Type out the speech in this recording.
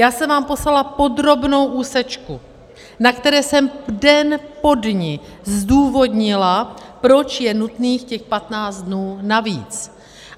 Já jsem vám poslala podrobnou úsečku, na které jsem den po dni zdůvodnila, proč je nutných těch 15 dnů navíc.